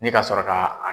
Ne ka sɔrɔ ka